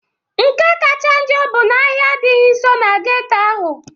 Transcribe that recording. Nke kacha njọ bụ na ahịa adịghị nso na geto ahụ.